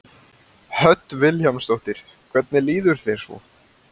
Hödd Vilhjálmsdóttir: Hvernig líður þér svo?